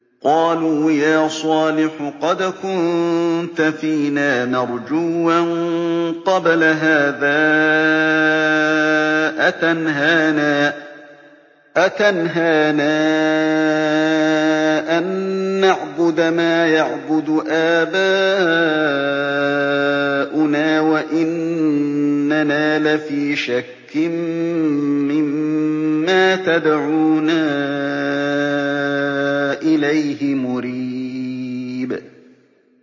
قَالُوا يَا صَالِحُ قَدْ كُنتَ فِينَا مَرْجُوًّا قَبْلَ هَٰذَا ۖ أَتَنْهَانَا أَن نَّعْبُدَ مَا يَعْبُدُ آبَاؤُنَا وَإِنَّنَا لَفِي شَكٍّ مِّمَّا تَدْعُونَا إِلَيْهِ مُرِيبٍ